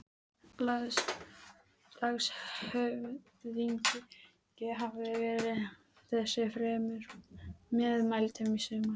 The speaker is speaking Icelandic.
Landshöfðingi hafði verið þessu fremur meðmæltur í sumar.